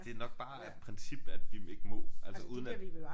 Det er nok bare af princip at de ikke må altså uden at